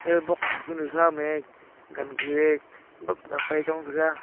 eh boxa kunu khame wangue bapley apai chong taiga.